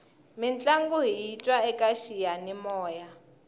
mintlangu hiyi twa eka xiyanimoya